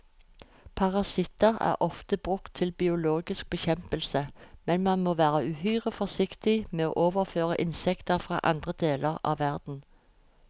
Parasitter er ofte brukt til biologisk bekjempelse, men man må være uhyre forsiktig med å overføre insekter fra andre deler av verden.